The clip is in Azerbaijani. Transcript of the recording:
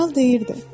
Kral deyirdi: